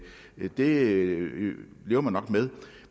det lever man nok med